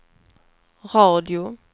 radio